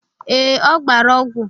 Ee, ọ gbara ọgwụ.